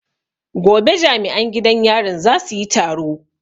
Gobe jami'an gidan yarin za su yi taro